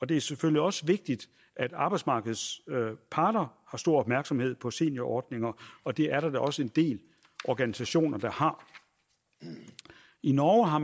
det er selvfølgelig også vigtigt at arbejdsmarkedets parter har stor opmærksomhed på seniorordninger og det er der da også en del organisationer der har i norge har